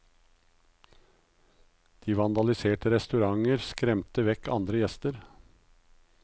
De vandaliserte restauranter og skremte vekk andre gjester.